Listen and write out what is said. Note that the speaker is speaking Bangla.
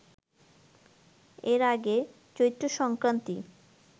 এর আগে ‘চৈত্রসংক্রান্তি’